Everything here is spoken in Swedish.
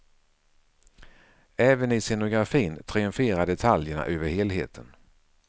Även i scenografin triumferar detaljerna över helheten.